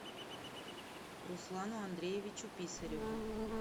руслану андреевичу писареву